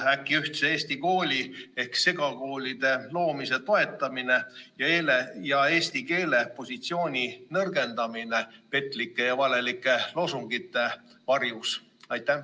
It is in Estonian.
Kas äkki ühtse eesti kooli ehk segakoolide loomise toetamine ning eesti keele positsiooni nõrgendamine petlike ja valeliku loosungite varjus?